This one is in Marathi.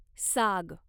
साग